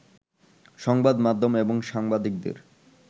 সংবাদ মাধ্যম এবং সাংবাদিকদের